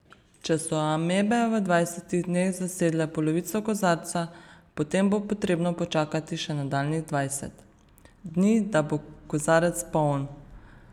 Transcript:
Če so amebe v dvajsetih dneh zasedle polovico kozarca, potem bo potrebno počakati še nadaljnjih dvajset dni, da bo kozarec poln.